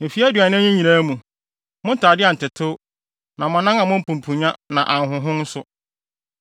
Mfe aduanan yi nyinaa mu, mo ntade antetew na mo anan ammɔ mpumpunnya na anhonhon nso.